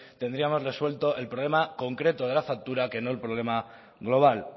tendríamos resuelto el problema concreto de la factura que no el problema global